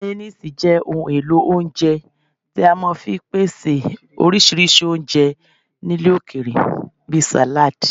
Mayoníìsì jẹ́ ohun èlò oúnjẹ tí a máa fi ń pèsè oríṣiríṣi oúnjẹ ilẹ̀ òkèèrè bí sàládi